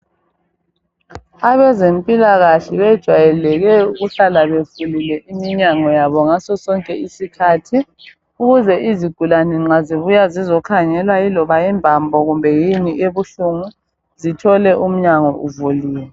Abezempilakahle bejwayeleke ukuhlala bevulile iminyango yabo ngaso sonke isikhathi ukuze izigulane nxa zibuya zizokhangela iloba imbambo yini ebuhlungu zithole umnyango uvuliwe.